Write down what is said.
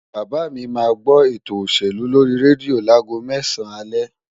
Bàbá mi máa gbó eto òṣèlú lórí rédíò láago mẹ́sàn-án alẹ́